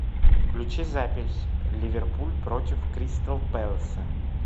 включи запись ливерпуль против кристал пэласа